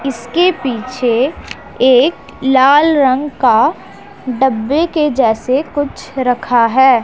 इसके पीछे एक लाल रंग का डब्बे के जैसे कुछ रखा है।